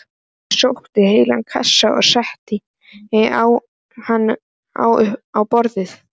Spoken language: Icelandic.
Ég sótti heilan kassa og setti hann upp á borð.